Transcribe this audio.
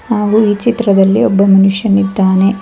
ಹಾಗು ಈ ಚಿತ್ರದಲ್ಲಿ ಒಬ್ಬ ಮನುಷ್ಯನಿದ್ದಾನೆ.